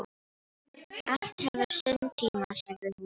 Allt hefur sinn tíma, sagði hún.